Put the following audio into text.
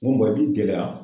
N ko i b'i gɛlɛya.